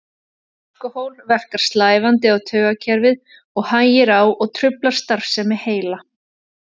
Alkóhól verkar slævandi á taugakerfið og hægir á og truflar starfsemi heila.